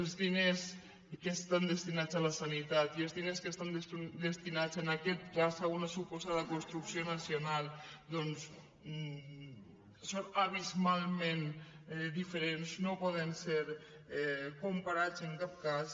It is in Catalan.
els diners que estan destinats a la sanitat i els diners que estan destinats en aquest cas a uns suposada construcció nacional són abismalment diferents no poden ser comparats en cap cas